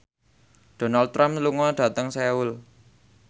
Donald Trump lunga dhateng Seoul